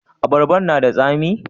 Abarban na da tsami?